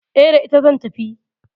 E, da ita zan tafi.